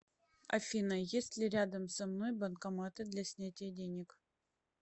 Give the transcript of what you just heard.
афина есть ли рядом со мной банкоматы для снятия денег